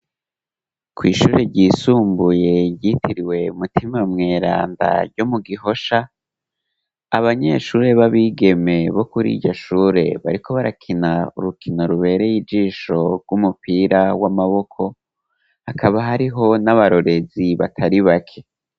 Kw'ishure ryisumbuye ryitiriwe Mutima Mweranda ryo mu Gihosha, abanyeshure b'abigeme bo kuri iryo shure bariko barakina urukino rubereye ijisho rw'umupira w'amaboko, hakaba hariho n'abarorezi batari bake.